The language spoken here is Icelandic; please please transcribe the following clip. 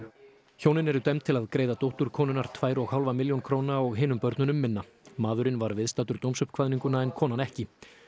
hjónin eru dæmd til að greiða dóttur konunnar tvær og hálfa milljón króna og hinum börnunum minna maðurinn var viðstaddur dómsuppkvaðninguna en konan ekki